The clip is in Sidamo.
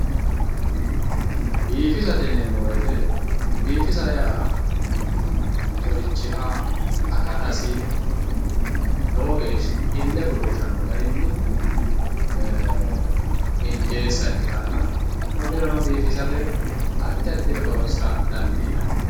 biifisate yineemmo woyiite biifisa yaa mitturichiha akatasi lowo geeshsha ille goshooshanno garinni injeessa ikkitanna konnirano biifisate addi addire horoonsira dandiinanni.